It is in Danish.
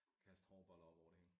Kaste hårboller op over det hele